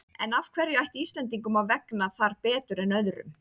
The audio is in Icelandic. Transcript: En af hverju ætti Íslendingum að vegna þar betur en öðrum?